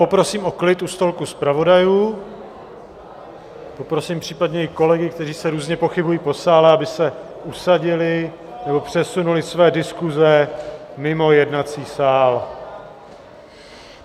Poprosím o klid u stolku zpravodajů, poprosím případně i kolegy, kteří se různě pohybují po sále, aby se usadili nebo přesunuli své diskuze mimo jednací sál.